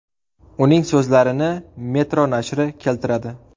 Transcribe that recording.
Uning so‘zlarini Metro nashri keltiradi .